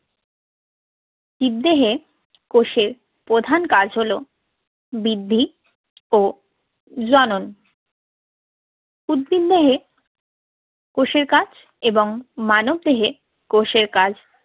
জীবদেহে কোষের প্রধান কাজ হলো বৃদ্ধি ও জনন। উদ্ভিদ দেহে কোষের কাজ এবং মানব দেহে কোষের কাজ